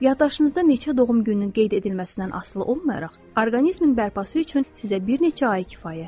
Yaddaşınızda neçə doğum gününün qeyd edilməsindən asılı olmayaraq, orqanizmin bərpası üçün sizə bir neçə ay kifayətdir.